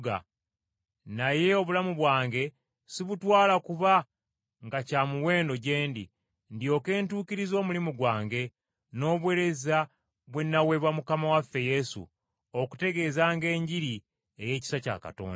Naye obulamu bwange sibutwala kuba nga kya muwendo gye ndi, ndyoke ntuukirize omulimu gwange, n’obuweereza bwe nnaweebwa Mukama waffe Yesu, okutegeezanga Enjiri ey’ekisa kya Katonda.